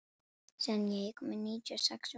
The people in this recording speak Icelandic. Senía, ég kom með níutíu og sex húfur!